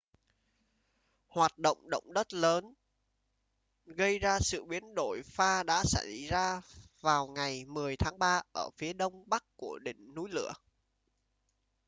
hoạt động động đất lớn gây ra sự biến đổi pha đã xảy ra vào ngày 10 tháng 3 ở phía đông bắc của đỉnh núi lửa